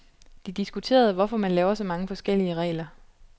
De diskuterede, hvorfor man laver så mange forskellige regler.